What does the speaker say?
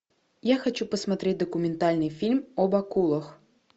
я хочу посмотреть документальный фильм об акулах